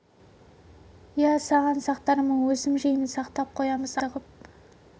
иә саған сақтармын өзім жеймін сақтап қоямыз апам екеуіміз піскен күні үзіп ап саған көрсетпей тығып